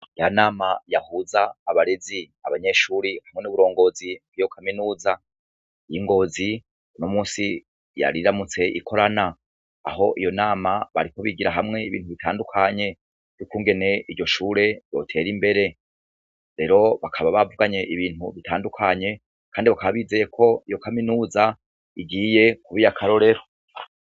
Ya nama yahuza abarezi abanyeshuri hamwe n'uburongozi nkiyo kaminuza y'ingozi no musi yariramutse ikorana aho iyo nama bariko bigira hamwe ibintu bitandukanye yuko ungene iryo shure yotera imbere rero bakaba bavuganye ibintu bitandukanye, kandi bakabae izeye ko iyo kaminuza igiye kuba iyo akarorero.